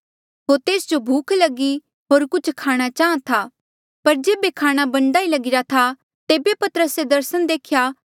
होर तेस जो भूख लगी होर कुछ खाणा चाहां था पर जेबे खाणा बणदा ही लगीरा था तेबे पतरसे दर्सन देख्या